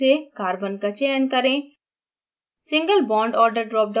element drop down सूची से carbon का चयन करें